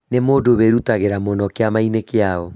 Nĩ mũndũ wĩrutagĩra mũno kĩama-inĩ kĩao